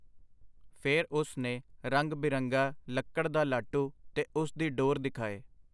ਫਿਰ ਉਸ ਨੇ ਰੰਗ-ਬਿਰੰਗਾ ਲੱਕੜ ਦਾ ਲਾਟੂ ਤੇ ਉਸ ਦੀ ਡੋਰ ਦਿਖਾਏ.